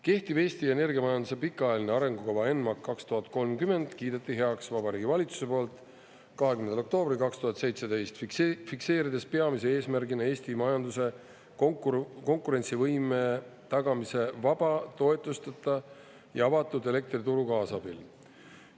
Kehtiv Eesti energiamajanduse pikaajaline arengukava ENMAK 2030 kiideti heaks Vabariigi Valitsuse poolt 20. oktoobril 2017, fikseerides peamise eesmärgina Eesti majanduse konkurentsivõime tagamise vaba, toetusteta ja avatud elektrituru kaasabil.